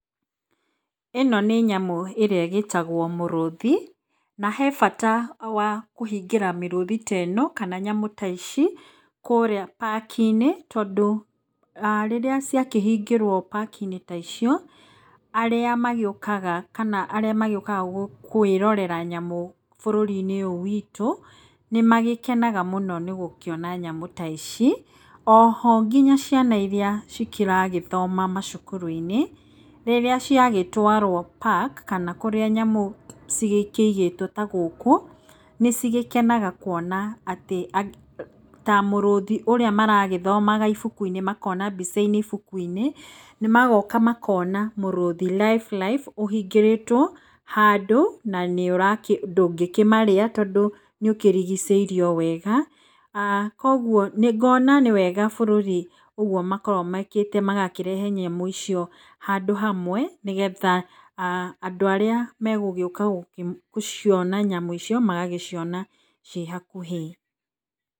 ĩno nĩ nyamũ ĩrĩa ĩgĩtagwo mũrũthi, na he bata kũhingĩra mĩrũthi ta ĩno kana nyamũ ta ici kũrĩa pakinĩ, tondũ rĩrĩa ciakĩhingĩrwo pakinĩ ta icio, aríĩ magĩũkaga kana arĩa magĩũkaga kwĩrorera nyamũ bũrũri-nĩ ũyũ witũ, nĩ magĩkenaga mũno nĩ gũkĩona nyamũ ta ici. Oho nginya ciana iria cikĩragĩthoma macukuru-inĩ, rĩrĩa ciagĩtwarwo paki kana kũrĩa nyamũ cigĩkĩigĩtwo ta gũkũ, nĩ cigĩkenaga kuona atĩ ta mũrũthi ũrĩa maragĩthomaga ibuku-inĩ makona mbica-inĩ ibuku-inĩ, magoaka makona mũrũthi life life ũhingĩrĩtwo handũ na ndũngĩkĩmarĩa tondũ nĩũkĩrigicĩirio wega . Kũoguo ngona nĩwega bũrũri ũguo makoragwo mekĩte magakĩrehe nyamũ icio handũ hamwe nĩgetha andũ aríĩ megũgiũka gũciona nyamũ icio magaciona ciĩ hakuhĩ.